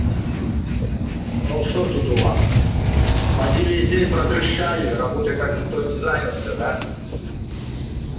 ну что тут у вас поди весь день про трещали работой так никто и не занялся да